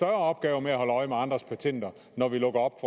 opgave med at holde øje med andres patenter når vi lukker op